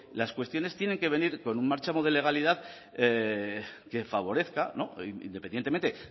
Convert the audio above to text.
las cuestiones tienen que venir con un marchamo de legalidad que favorezca independientemente